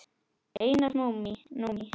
Einar Númi.